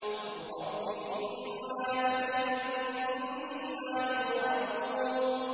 قُل رَّبِّ إِمَّا تُرِيَنِّي مَا يُوعَدُونَ